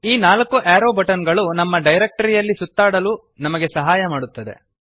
ಈ ನಾಲ್ಕು arrow button ಗಳು ನಮ್ಮ ಡಿರೆಕ್ಟರಿ ಯಲ್ಲಿ ಸುತ್ತಾಡಲು ನಮಗೆ ಸಹಾಯ ಮಾಡುತ್ತವೆ